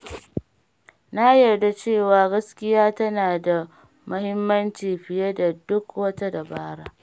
Na yarda cewa gaskiya tana da mahimmanci fiye da duk wata dabara.